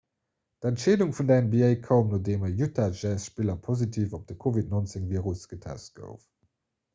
d'entscheedung vun der nba koum nodeem e 'utah jazz'-spiller positiv op de covid-19-virus getest gouf